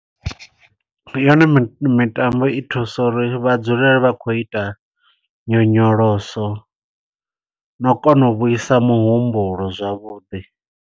Yone mi mitambo i thusa uri vha dzule vha khou ita nyonyoloso, no u kona u vhuisa muhumbulo zwavhuḓi.